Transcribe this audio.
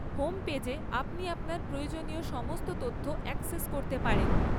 Home পেজে আপনি আপনার প্রয়োজনীয় সমস্ত তথ্য অ্যাক্সেস করতে পারেন।